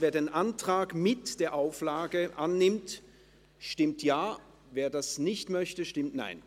Wer den Antrag mit der Auflage annimmt, stimmt Ja, wer dies nicht möchte, stimmt Nein.